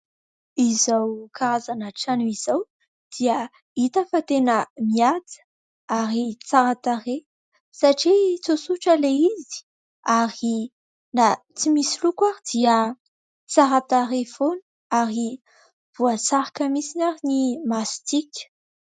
Izao karazana trano izao dia hita fa tena mihaja ary tsara tarehy satria tsotsotra ilay izy ary na tsy misy loko ary dia tsara tarehy foana ary voasarika mihitsy ary ny masontsika.